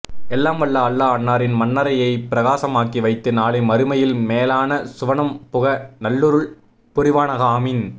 எல்லாம் வல்ல அல்லாஹ் அன்னாரின் மண்ணறையை பிரகாசமாக்கி வைத்து நாளை மறுமையில் மேலான சுவனம் புக நல்லருள் புரிவானாக ஆமீன்